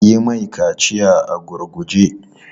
Yi mai kaciyar a gurguje!